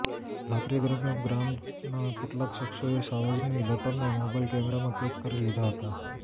રાત્રી દરમિયાન ગ્રામના કેટલાક શખ્સોએ સાવજની લટારને મોબાઇલ કેમેરામાં કેદ કરી લીધા હતા